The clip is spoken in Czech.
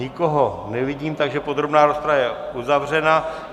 Nikoho nevidím, takže podrobná rozprava je uzavřena.